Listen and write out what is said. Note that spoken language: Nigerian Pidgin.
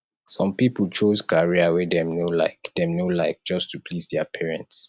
some pipo choose career wey dem no like dem no like just to please their parents